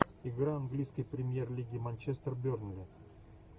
игра английской премьер лиги манчестер бернли